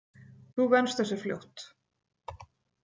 Þú venst þessu fljótt.